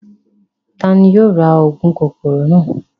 Tani yóò ra óogun kokoro naa?